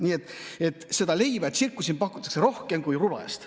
Nii et leiba ja tsirkust pakutakse siin rohkem kui rubla eest.